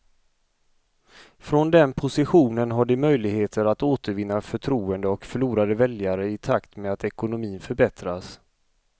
Från den positionen har de möjligheter att återvinna förtroende och förlorade väljare i takt med att ekonomin förbättras.